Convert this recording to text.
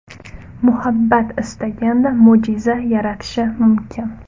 Muhabbat istaganda mo‘jiza yaratishi mumkin.